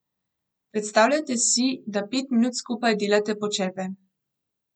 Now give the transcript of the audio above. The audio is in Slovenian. Predstavljajte si, da pet minut skupaj delate počepe.